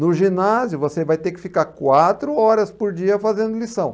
No ginásio, você vai ter que ficar quatro horas por dia fazendo lição.